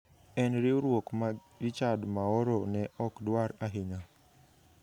En riwruok ma Richad Maoro ne ok dwar ahinya.